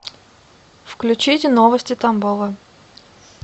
включите новости тамбова